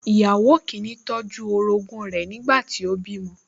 Ìyàwó kìíní tọ́jú orogún rẹ̀ nígbà tí ó bímọ